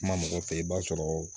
Kuma mɔgɔ fɛ i b'a sɔrɔ